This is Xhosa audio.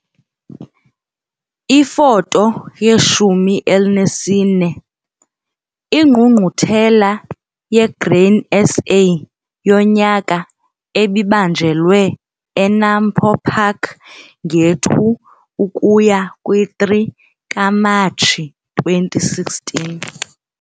Ifoto 1 4- INgqungquthela yeGrain SA yonyaka ebibanjelwe eNAMPO Park nge-2-3 Matshi 2016.